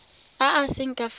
a a seng ka fa